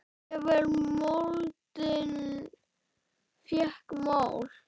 Jafnvel moldin fékk mál.